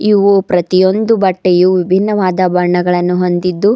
ಇವು ಪ್ರತಿಯೊಂದು ಬಟ್ಟೆಯು ವಿಭಿನ್ನವಾದ ಬಣ್ಣಗಳನ್ನು ಹೊಂದಿದ್ದು--